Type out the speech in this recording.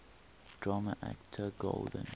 drama actor golden